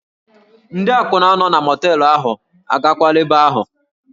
Ndị akwụna nọ na mọteelụ ahụ, agakwala ebe ahụ!